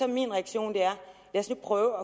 min reaktion lad os nu prøve